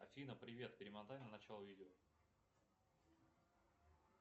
афина привет перемотай на начало видео